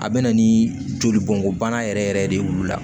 A bɛ na ni jolibɔn bana yɛrɛ yɛrɛ de ye wulu la